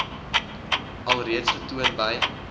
alreeds getoon by